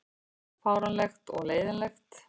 Fáránlegt og leiðinlegt